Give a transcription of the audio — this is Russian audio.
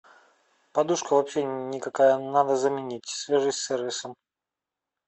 подушка вообще никакая надо заменить свяжись с сервисом